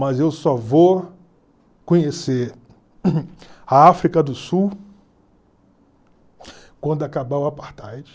Mas eu só vou conhecer a África do Sul quando acabar o Apartheid.